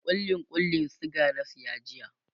kulli Kullin suga na saya jiya